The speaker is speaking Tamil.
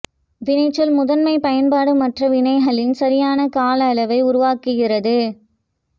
வினைச்சொல் முதன்மை பயன்பாடு மற்ற வினைகளின் சரியான கால அளவை உருவாக்குகிறது